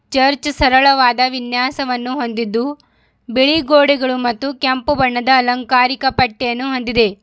Church ಸರಳವಾದ ವಿನ್ಯಾಸವನ್ನು ಹೊಂದಿದ್ದು ಬಿಳಿ ಗೋಡೆಗಳು ಮತ್ತು ಕೆಂಪು ಬಣ್ಣದ ಅಲಂಕಾರಿಕ ಪಟ್ಟಿಯನ್ನು ಹೊಂದಿದೆ.